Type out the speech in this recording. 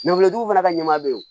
tigiw fana ka ɲɛma bɛ yen